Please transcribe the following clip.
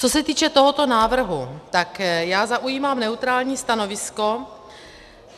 Co se týče tohoto návrhu, tak já zaujímám neutrální stanovisko.